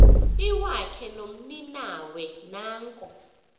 iwakhe nomninawe nanko